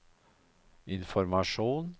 informasjon